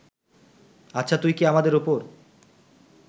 আচ্ছা তুই কি আমাদের ওপর